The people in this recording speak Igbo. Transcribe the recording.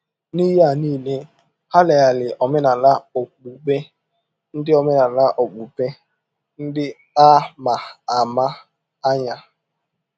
N’ihe a nile, ha leghaara omenala okpukpe ndị omenala okpukpe ndị a ma ama anya.